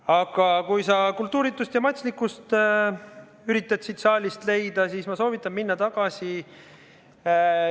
Aga kui sa kultuuritust ja matslikkust üritad siit saalist leida, siis ma soovitan minna tagasi.